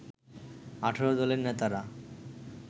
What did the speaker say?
১৮ দলের নেতারা